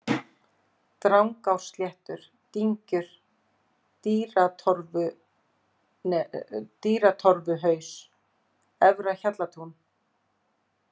Drangársléttur, Dyngjur, Dýratorfuhaus, Efra-Hjallatún